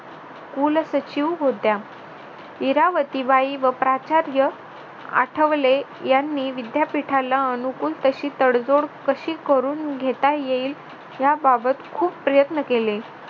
कुलसचिव होत्या इरावतीबाई व प्राचार्य आठवले यांनी विद्यापीठाला अनुकूल तशी तोड जोड कशी करून घेता येईल याबाबत खूप प्रयत्न केले